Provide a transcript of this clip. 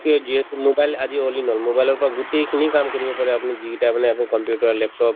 mobile আজি all in all, mobile ৰ পৰা গোটেই খিনি কাম পাৰে যি গিতা মানে আপুনি computer, laptop